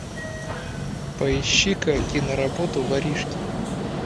поищи ка киноработу воришки